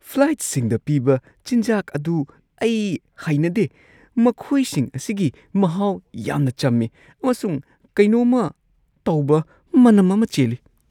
ꯐ꯭ꯂꯥꯏꯠꯁꯤꯡꯗ ꯄꯤꯕ ꯆꯤꯟꯖꯥꯛ ꯑꯗꯨ ꯑꯩ ꯍꯩꯅꯗꯦ꯫ ꯃꯈꯣꯏꯁꯤꯡ ꯑꯁꯤꯒꯤ ꯃꯍꯥꯎ ꯌꯥꯝꯅ ꯆꯝꯃꯤ ꯑꯃꯁꯨꯡ ꯀꯩꯅꯣꯝꯃ ꯇꯧꯕ ꯃꯅꯝ ꯑꯃ ꯆꯦꯜꯂꯤ꯫